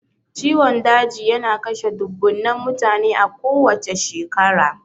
Ciwon daji yana kashe dubbunnan mutane a kowacce shekara.